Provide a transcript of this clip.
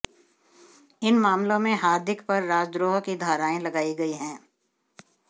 इन मामलों में हार्दिक पर राजद्रोह की धारायें लगाई गई हैं